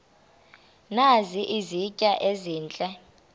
nazi izitya ezihle